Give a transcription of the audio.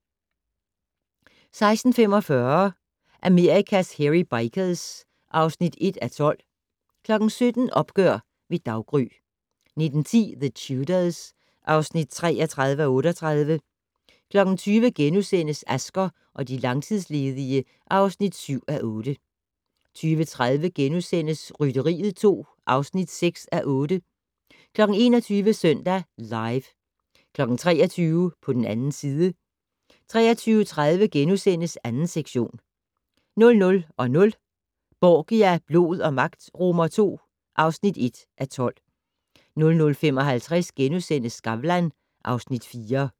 16:45: Amerikas Hairy Bikers (1:12) 17:00: Opgør ved daggry 19:10: The Tudors (33:38) 20:00: Asger og de langtidsledige (7:8)* 20:30: Rytteriet 2 (6:8)* 21:00: Søndag Live 23:00: På den 2. side 23:30: 2. sektion * 00:00: Borgia - blod og magt II (1:12) 00:55: Skavlan (Afs. 4)*